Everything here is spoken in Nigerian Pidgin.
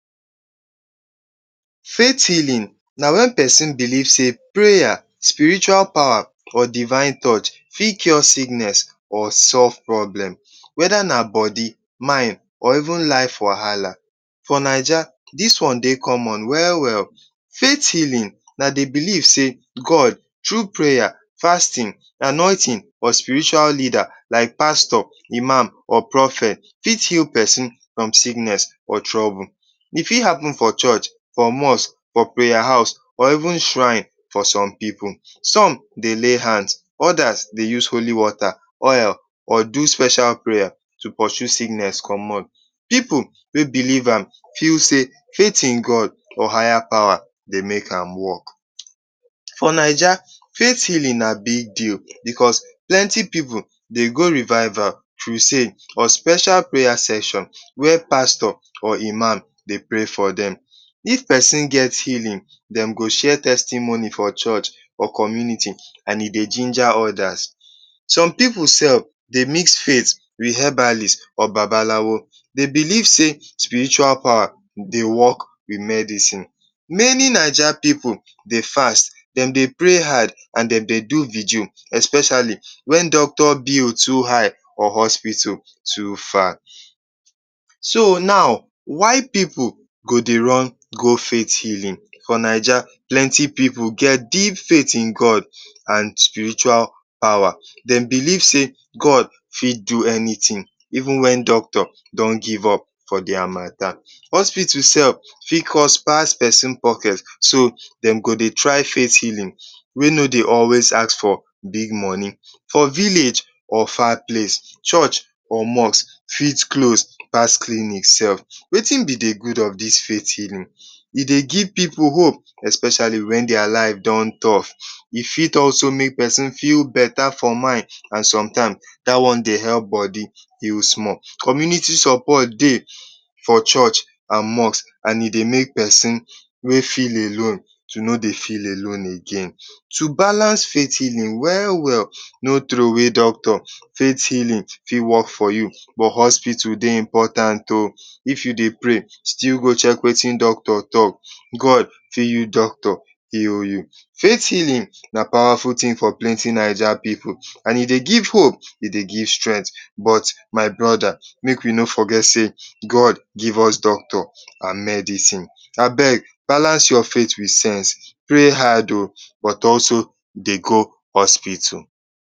Faith healin na wen pesin belief sey, preya, spiritual pawa or devine touch fit cure sickness or solve problem. Weda na body, mind or even life wahala. For Naija dis one dey common we-well. Faith healin. Na the belief sey god thru preya, fastin, anoitin or spiritual leader like pastor, imam, or prophet fit heal pesin from sickness or trouble. E fit happen for church, for mosque, for preya house or even shrine for som pipu, som dey lay hand odas dey use holy wota, oil or do special preya to poshu sickness comot. Pipu wey belief am feel sey faith in god or higher pawa dey make am work. For Naija faith healing na big tin because plenty pipu dey go revival, crusade or special preya session where pastor or imam dey prey fro dem. if pesin get healin, dem go share testimony for church or community and dem go ginger odas. Some pipu dey mix faith wit habalis or babalawo, dey belief sey, spiritual pawa dey work with medicine. Meni Naija pipu dey fast, dey pray hard and dem dey do virgil, especiali wen doctor bill too high for hospital so far. So now, why pipu go dey run go faith healin? For Naija plenty pipu get deep faith in god and spiritual pwa, dem belief sey god fit do anytin even wen doctor don give up for dia mata. Hospital sef fit cut pass pesin pocket so dem go dey try face healin wey no dey always ask for big moni. For village or far place, church or mosque fit close pass clinic sef. Wetin be the gud of dis faith healin? E dey give pipu hope especiali wen dia life don tough. E fit also make pesin feel beta for mind and somtime da one dey help bodi heal small. Community sopot dey for church and mosque and e dey make pesin wey feel alone to no dey feel alon again. To balance faith healin we-well, no trowey doctor. Faith healin fit work for you but hospital dey very important o. if you dey pray, still go chek weti doctor talk. God fit use doctor heal you. Faith healin na pwawaful tin for plenti Naija pipu and e dey hope, e dey give strength but my broda make we no forget sey god give us doctor and medicine. Balance your sef with sense, prey hard o but also dey go hospital.